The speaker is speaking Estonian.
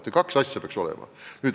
Need kaks asja peaks korraga olema.